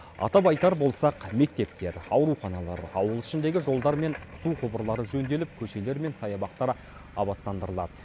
атап айтар болсақ мектептер ауруханалар ауыл ішіндегі жолдар мен су құбырлары жөнделіп көшелер мен саябақтар абаттандырылады